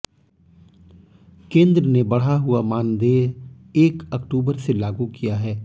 केंद्र ने बढ़ा हुआ मानदेय एक अक्टूबर से लागू किया है